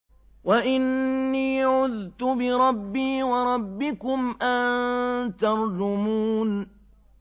وَإِنِّي عُذْتُ بِرَبِّي وَرَبِّكُمْ أَن تَرْجُمُونِ